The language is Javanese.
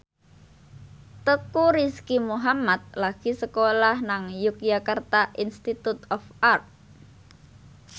Teuku Rizky Muhammad lagi sekolah nang Yogyakarta Institute of Art